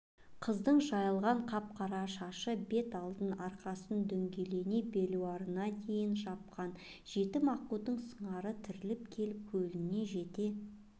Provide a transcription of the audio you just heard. қыздың жайылған қап-қара шашы бет алдын арқасын дөңгелене белуарына дейін жапқан жетім аққудың сыңары тіріліп келіп көліне жете